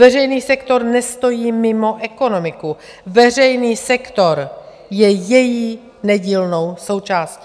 Veřejný sektor nestojí mimo ekonomiku, veřejný sektor je její nedílnou součástí.